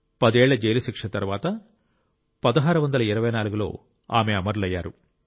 పదేళ్ల జైలు శిక్ష తర్వాత 1624 లో ఆమె అమరులయ్యారు